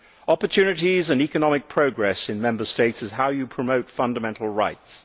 Opportunities and economic progress in Member States is how you promote fundamental rights.